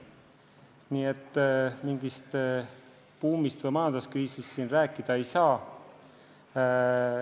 Nii et mingist buumist või majanduskriisist siin rääkida ei saa.